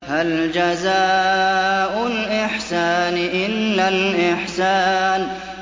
هَلْ جَزَاءُ الْإِحْسَانِ إِلَّا الْإِحْسَانُ